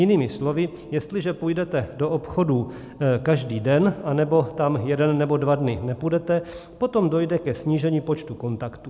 Jinými slovy, jestliže půjdete do obchodu každý den, anebo tam jeden nebo dva dny nepůjdete, potom dojde ke snížení počtu kontaktů.